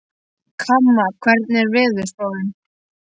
Kamma, hvernig er veðurspáin?